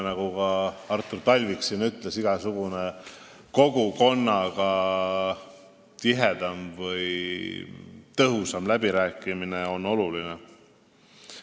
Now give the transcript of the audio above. Nagu ka Artur Talvik siin ütles, igasugune tihedam või tõhusam läbirääkimine kogukonnaga on oluline.